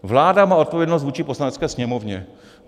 Vláda má odpovědnost vůči Poslanecké sněmovně.